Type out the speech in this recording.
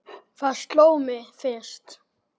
Það sló mig fyrst.